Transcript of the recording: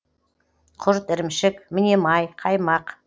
құрт ірімшік міне май қаймақ